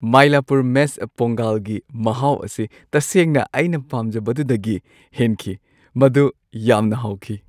Mylapore mess ꯄꯣꯡꯒꯜꯒꯤ ꯃꯍꯥꯎ ꯑꯁꯤ ꯇꯁꯦꯡꯅ ꯑꯩꯅ ꯄꯥꯝꯖꯕꯗꯨꯗꯒꯤ ꯍꯦꯟꯈꯤ꯫ ꯃꯗꯨ ꯌꯥꯝꯅ ꯍꯥꯎꯈꯤ꯫